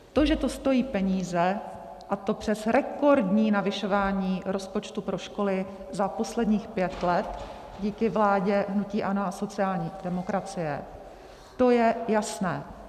To, že to stojí peníze, a to přes rekordní navyšování rozpočtu pro školy za posledních pět let díky vládě hnutí ANO a sociální demokracie, to je jasné.